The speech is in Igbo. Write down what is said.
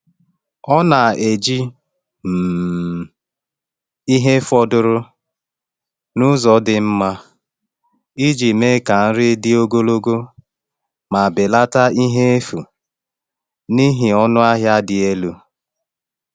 Ọ na-eji um ihe fọdụrụ n’ụzọ dị mma iji mee ka nri dị ogologo ma belata ihe efu n’ihi ọnụ ahịa dị elu.